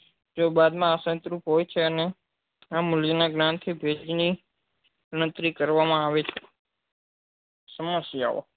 જે બાદ માં અ રૂપ હોય છે અને મુલ્ય ના જ્ઞાન થી ભેજ ની ગણતરી કરવા માં આવે છે સમસ્યાઓ